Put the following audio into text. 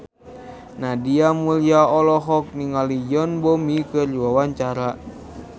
Nadia Mulya olohok ningali Yoon Bomi keur diwawancara